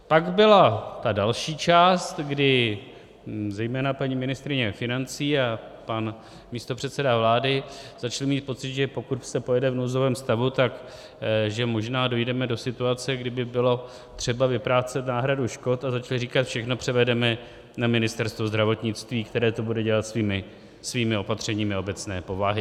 Pak byla ta další část, kdy zejména paní ministryně financí a pan místopředseda vlády začali mít pocit, že pokud se pojede v nouzovém stavu, takže možná dojdeme do situace, kdy by bylo třeba vyplácet náhradu škod, a začali říkat, všechno převedeme na Ministerstvo zdravotnictví, které to bude dělat svými opatřeními obecné povahy.